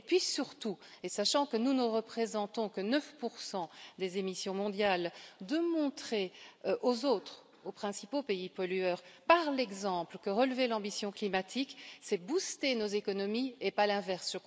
Et puis surtout, et sachant que nous ne représentons que 9 pour cent des émissions mondiales, de montrer aux autres, aux principaux pays pollueurs, par l'exemple, que relever l' ambition climatique c'est booster nos économies et pas l'inverse.